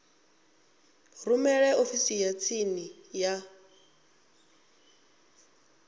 rumele ofisini ya tsini ya